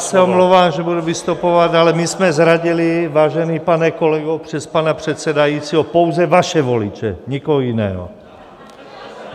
Já se omlouvám, že budu vystupovat, ale my jsme zradili, vážený pane kolego, přes pana předsedajícího, pouze vaše voliče, nikoho jiného.